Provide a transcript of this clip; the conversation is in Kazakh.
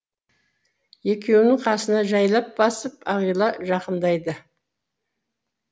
екеуінің қасына жайлап басып ағила жақындайды